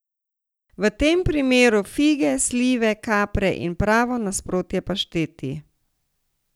V tem primeru fige, slive, kapre in pravo nasprotje pašteti.